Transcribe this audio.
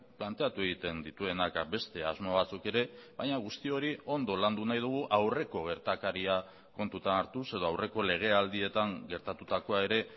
planteatu egiten dituenak beste asmo batzuk ere baina guzti hori ondo landu nahi dugu aurreko gertakaria kontutan hartuz edo aurreko legealdietan gertatutakoa ere